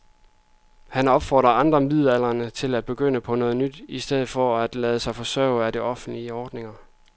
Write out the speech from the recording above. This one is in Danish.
Han opfordrer andre midaldrende til at begynde på noget nyt i stedet for at lade sig forsørge af offentlige ordninger.